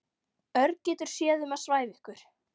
Örn getur séð um að svæfa ykkur.